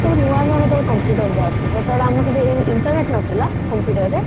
ସବୁ ନୂଆ ନୂଆ ସେତେବେଳେ computer ବାହାରୁଥିଲା ସେତେବେଳେ ଆମର ସବୁ ଏଇ internet ନଥିଲା computer ରେ